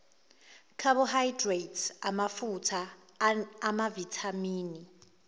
carbohydrate amafutha amavithamini